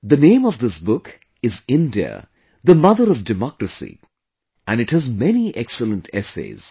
The name of this book is India The Mother of Democracy and it has many excellent essays